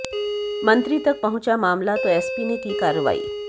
मंत्री तक पहुंचा मामला तो एसपी ने की कार्रवाई